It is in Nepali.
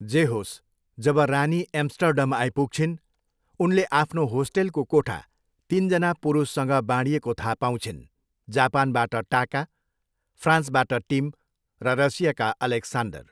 जे होस्, जब रानी एम्स्टर्डम आइपुग्छिन् उनले आफ्नो होस्टेलको कोठा तिनजना पुरुषसँग बाँडिएको थाहा पाउँछिन्, जापानबाट टाका, फ्रान्सबाट टिम र रसियाका ओलेक्सान्डर।